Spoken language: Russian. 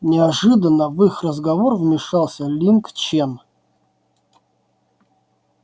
неожиданно в их разговор вмещался линг чен